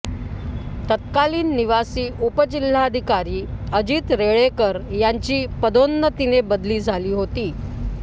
तत्कालीन निवासी उपजिल्हाधिकारी अजित रेळेकर यांची पदोन्नतीने बदली झाली होती